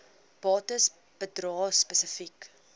bates bedrae spesifiek